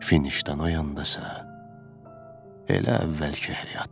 Finişdən o yandasa, elə əvvəlki həyat.